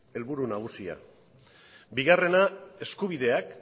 helburu nagusia bigarrena eskubideak